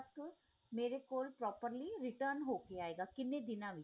ਮੇਰੇ ਕੋਲ properly return ਹੋ ਕੇ ਆਇਗਾ ਕਿੰਨੇ ਦਿਨਾ ਵਿੱਚ